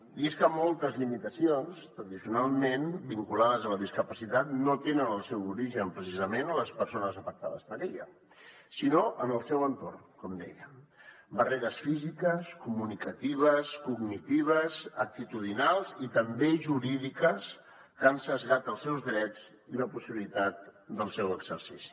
i és que moltes limitacions tradicionalment vinculades a la discapacitat no tenen el seu origen precisament en les persones afectades per la discapacitat sinó en el seu entorn com deia barreres físiques comunicatives cognitives actitudinals i també jurídiques que han esbiaixat els seus drets i la possibilitat del seu exercici